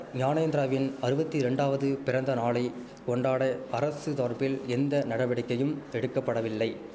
ஞானேந்திராவின் அறுவத்திரெண்டாவது பிறந்தநாளை கொண்டாட அரசு தார்பில் எந்த நடவடிக்கையும் எடுக்க படவில்லை